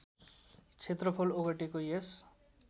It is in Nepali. क्षेत्रफल ओगटेको यस